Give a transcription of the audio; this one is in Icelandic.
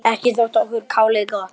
Ekki þótti okkur kálið gott.